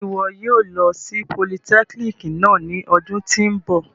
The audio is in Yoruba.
Ṣe iwọ yóò lo si politẹkínikì náa ni ọdun ti n bọ?